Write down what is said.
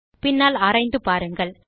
பின்னால் ஆராய்ந்து பாருங்கள்